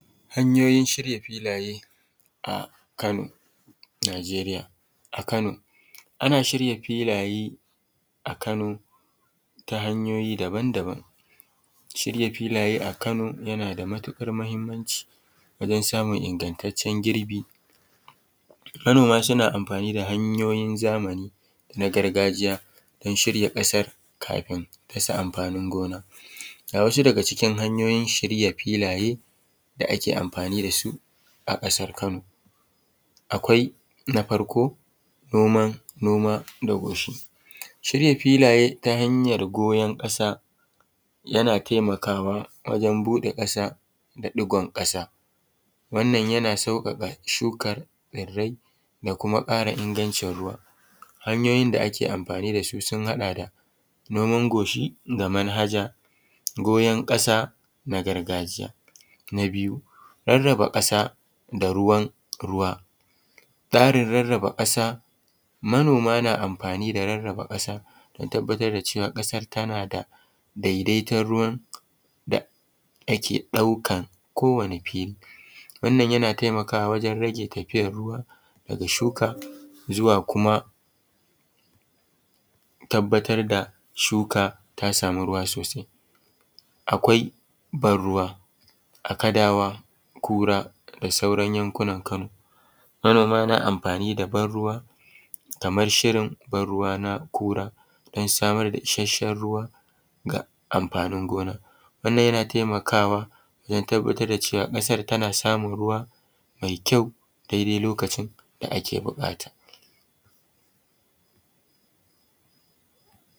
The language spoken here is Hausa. Hanyoyin shirya filaye a Kano Najeriya. A Kano ana shirya filaye a Kano ta hanyoyi daban-daban, shirya filaye a Kano yana da matuƙar mahimmanci wajan samun ingantacen girbi, Kano ma suna amfani da hanyoyin zamani na gargajiya dan shirya ƙasar kafin dasa amfanin gona, ga wasu daga cikin hanyoyin shirya filaye da ake amfani da su a ƙasar Kano: akwai na farko noma, noma da goshi shirya filaye ta hanyar goyon ƙasa yana taimakawa wajan buɗe ƙasa da ɗigon ƙasa wannan yana sauƙaƙa shukar tsirai da kuma ƙara ingancin ruwa. Hanyoyin da ake amfani da su sun haɗa da noman goshi ga manhaja, goyon ƙasa na gargajiya, na biyu raraba ƙasa da ruwan ruwa, tsarin rarraba ƙasa manoma na amfani da rarraba ƙasa dan tabbatar da cewa ƙasar tana da daidaiton ruwan da ake ɗaukan kowane fili wannan yana taimakawa wajen rage tafiyar ruwa daga shuka zuwa kuma tabbatar da shuka ta samu ruwa sosai. Akwai ban ruwa a Kadawa, Kura da sauran yankunan Kano, manoma na amfani da ban ruwa kamar shirin ban ruwa na Kura dan samar da isashen ruwa ga amfanin gona wannan yana taimakawa dan tabbatar da cewa ƙasar tana samun ruwa mai kyau daidai lokacin da ake buƙata.